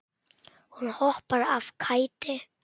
Hún hoppar af kæti.